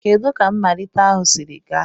Kedu ka mmalite ahụ siri gaa?